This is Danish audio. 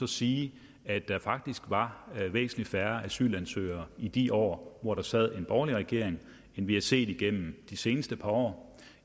sige at der faktisk var væsentlig færre asylansøgere i de år hvor der sad en borgerlig regering end vi har set igennem de seneste par år